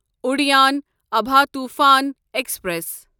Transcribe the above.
Udyan Abha Toofan express